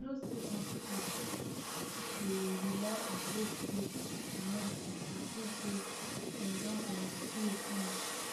you know say some people dey rely on both faith and medicine to feel say dem don um heal finish